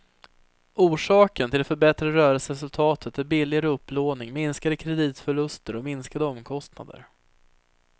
Orsaken till det förbättrade rörselseresultatet är billigare upplåning, minskade kreditförluster och minskade omkostnader.